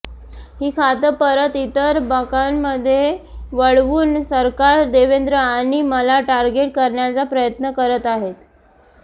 ही खातं परत इतर बँकांमध्ये वळवून सरकार देवेंद्र आणि मला टार्गेट करण्याचा प्रयत्न करत आहेत